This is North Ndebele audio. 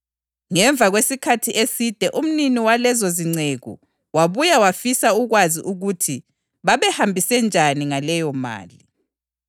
Ngemva kwesikhathi eside umnini walezozinceku wabuya wafisa ukwazi ukuthi babehambise njani ngaleyomali.